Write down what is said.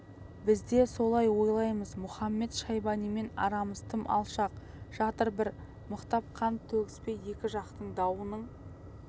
біз де солай ойлаймыз мұхамед-шайбанимен арамыз тым алшақ жатыр бір мықтап қан төгіспей екі жақтың дауының